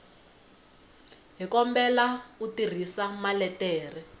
hi kombela u tirhisa maletere